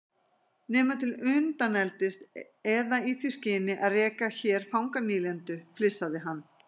Nema til undaneldis eða í því skyni að reka hér fanganýlendu, flissaði hann.